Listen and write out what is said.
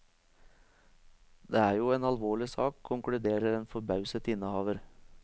Det er jo en alvorlig sak, konkluderer en forbauset innehaver.